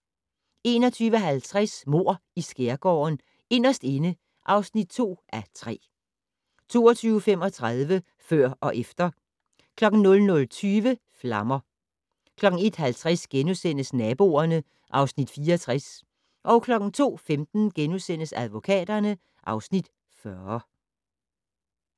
21:50: Mord i Skærgården: Inderst inde (2:3) 22:35: Før og efter 00:20: Flammer 01:50: Naboerne (Afs. 64)* 02:15: Advokaterne (Afs. 40)*